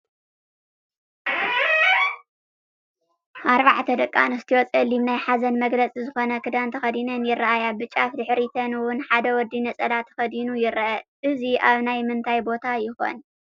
4 ደቂ ኣንስትዮ ፀሊም ናይ ሓዘን መግለፂ ዝኾነ ክዳን ተኸዲነን ይራኣያ፡፡ ብጫፍ ድሕሪተን ውን ሓደ ወዲ ነፀላ ተኸዲኑ ይረአ፡፡ እዚ ኣብ ናይ ምንታይ ቦታ ይኾን?